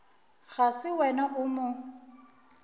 ga se wena o mo